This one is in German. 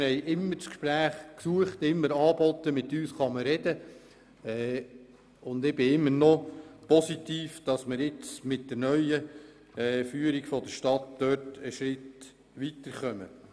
Wir haben stets das Gespräch gesucht und angeboten, und ich gehe davon aus, dass man diesbezüglich mit der neuen Führung der Stadt einen Schritt weiterkommt.